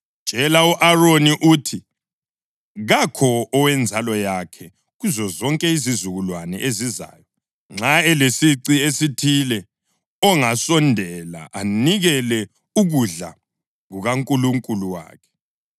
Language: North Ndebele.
“Tshela u-Aroni uthi: ‘kakho owenzalo yakhe kuzozonke izizukulwane ezizayo nxa elesici esithile ongasondela anikele ukudla kukaNkulunkulu wakhe.